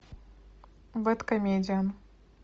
бэдкомедиан